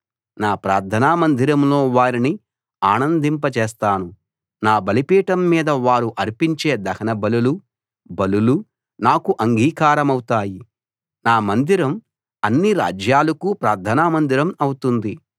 నా ప్రార్థన మందిరంలో వారిని ఆనందింపచేస్తాను నా బలిపీఠం మీద వారు అర్పించే దహనబలులూ బలులూ నాకు అంగీకారమవుతాయి నా మందిరం అన్ని రాజ్యాలకూ ప్రార్థన మందిరం అవుతుంది